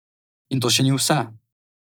In to še ni vse.